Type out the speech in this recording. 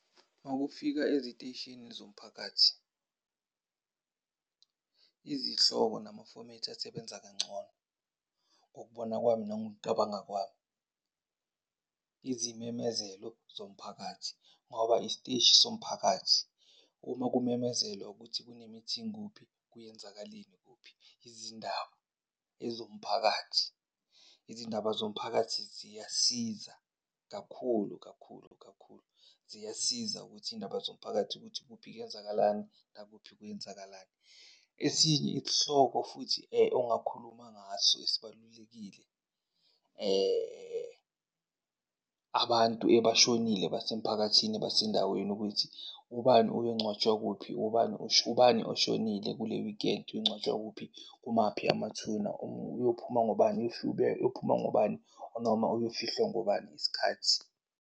Makufika eziteshini zomphakathi izihloko namafomethi asebenza kangcono ngokubona kwami nangokucabanga kwami, izimemezelo zomphakathi ngoba isiteshi somphakathi. Uma kumemezelwa ukuthi kune-meeting kuphi, kuyenzakaleni kuphi. Izindaba ezomphakathi, izindaba zomphakathi ziyasiza kakhulu kakhulu kakhulu, ziyasiza ukuthi iy'ndaba zomphakathi ukuthi kuphi kwenzakalani, nakuphi kwenzakalani. Esinye isihloko futhi ongakhuluma ngaso esibalulekile, abantu ebashonile basemphakathini basendaweni ukuthi ubani uyongcwatshwa kuphi, ubani ubani oshonile kule weekend uyongcwatshwa kuphi, kumaphi amathuna, uyophuma ngobani, uyophuma ngobani noma uyofihlwa ngobani isikhathi.